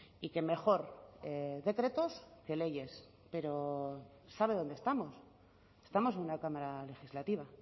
y que mejor decretos que leyes pero sabe dónde estamos estamos en una cámara legislativa